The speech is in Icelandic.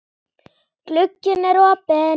Glugginn er opinn.